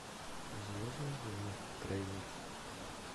звездные войны трейлер